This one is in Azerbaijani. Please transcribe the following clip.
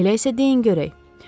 Elə isə deyin görək.